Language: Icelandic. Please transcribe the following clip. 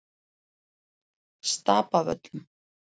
Stapavöllum